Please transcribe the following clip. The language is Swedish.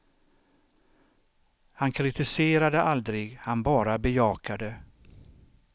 Han kritiserade aldrig, han bara bejakade.